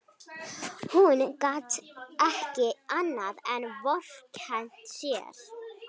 Hún gat ekki annað en vorkennt sér.